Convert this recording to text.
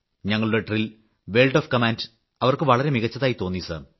ഞങ്ങളുടെ ഡ്രില്ലും word of കമാൻഡും അവർക്ക് വളരെ മികച്ചതായി തോന്നി സർ